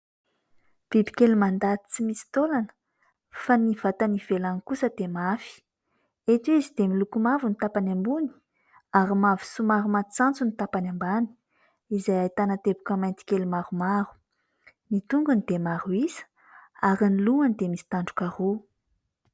Bibikely mandady tsy misy taolana fa ny vatany ivelany kosa dia mafy. Eto izy dia miloko mavo ny tapany ambony ary mavo somary matsatso ny tapany ambany izay ahitana teboka maintikely maromaro. Ny tongony dia maro isa ary ny lohany dia misy tandroka roa.